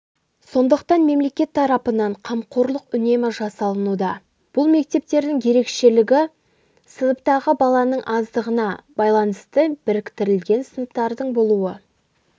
сондықтан мемлекет тарапынан қамқорлық үнемі жасалынуда бұл мектептердің ерекшелігі сыныптағы баланың аздығына байланысты біріктірілген сыныптардың болуы